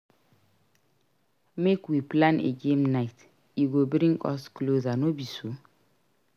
Make we plan a game night; e go bring us closer no be so?